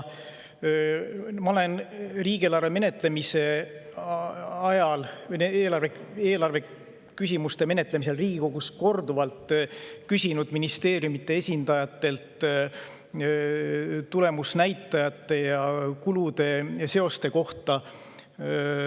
Ma olen riigieelarve menetlemise ajal Riigikogus korduvalt küsinud ministeeriumide esindajatelt tulemusnäitajate ja kulude seoste kohta.